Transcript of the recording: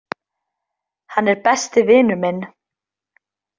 Hann er besti vinur minn